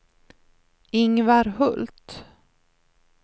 Ingvar Hult